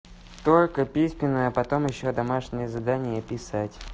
только письменная потом ещё домашнее задание и писать